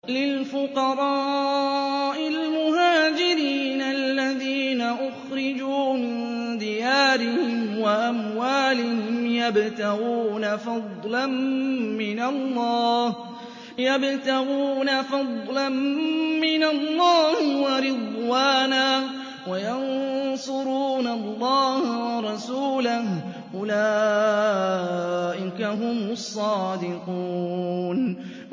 لِلْفُقَرَاءِ الْمُهَاجِرِينَ الَّذِينَ أُخْرِجُوا مِن دِيَارِهِمْ وَأَمْوَالِهِمْ يَبْتَغُونَ فَضْلًا مِّنَ اللَّهِ وَرِضْوَانًا وَيَنصُرُونَ اللَّهَ وَرَسُولَهُ ۚ أُولَٰئِكَ هُمُ الصَّادِقُونَ